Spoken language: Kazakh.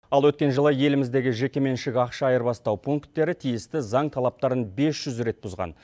ал өткен жылы еліміздегі жекеменшік ақша айырбастау пункттері тиісті заң талаптарын бес жүз рет бұзған